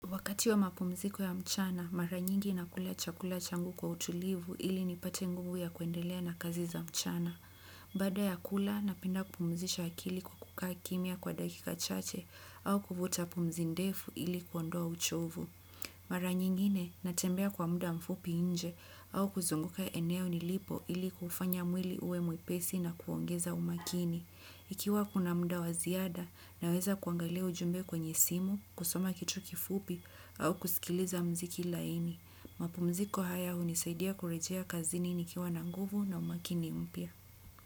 Wakati wa mapumziko ya mchana, mara nyingi na kula chakula changu kwa utulivu ili nipate nguvu ya kuendelea na kazi za mchana. Baada ya kula, napenda kupumzisha akili kukukaa kimia kwa dakika chache au kuvuta pumzindefu ili kuondoa uchovu. Mara nyingine, natembea kwa muda mfupi inje au kuzunguka eneo nilipo ili kufanya mwili uwe mwepesi na kuongeza umakini. Ikiwa kuna mda wa ziada naweza kuangalia ujumbe kwenye simu kusoma kituo kifupi au kuskiliza mziki laini mapumziko haya unisaidia kurejea kazini nikiwa na nguvu na umakini mpya.